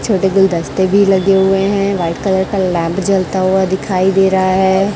छोटे गुलदस्ते भी लगे हुए हैं व्हाइट कलर का लैम्प जलता हुआ दिखाई दे रहा है।